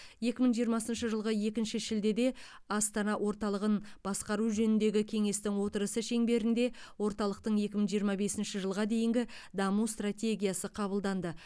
екі мың жиырмасыншшы жылғы екінші шілдеде астана орталығын басқару жөніндегі кеңестің отырысы шеңберінде орталықтың екі мың жиырма бесінші жылға дейінгі даму стратегиясы қабылданды